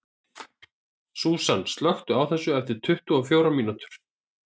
Súsan, slökktu á þessu eftir tuttugu og fjórar mínútur.